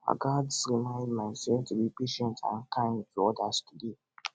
i gats remind myself to be patient and kind to odas today